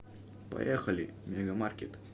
поехали мега маркет